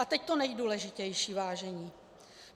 A teď to nejdůležitější, vážení.